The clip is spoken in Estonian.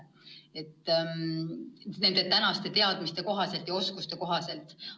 Seda siis praeguste teadmiste ja oskuste kohaselt.